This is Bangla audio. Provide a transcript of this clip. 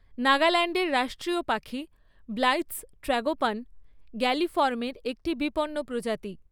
নাগাল্যান্ডের রাষ্ট্রীয় পাখি ব্লাইথ্‌'স ট্রাগোপান, গ্যালিফর্মের একটি বিপন্ন প্রজাতি।